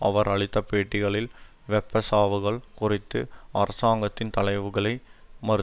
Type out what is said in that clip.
அவர் அளித்த பேட்டிகளில் வெப்ப சாவுகள் குறித்து அரசாங்கத்தின் தகவல்களை மறு